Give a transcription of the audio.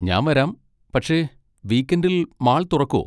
ഞാൻ വരാം, പക്ഷെ വീക്കെൻഡിൽ മാൾ തുറക്കോ?